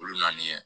Olu naani